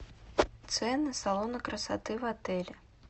цены салона красоты в отеле